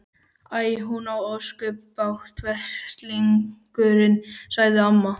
Æ, hún á ósköp bágt, veslingurinn sagði amma.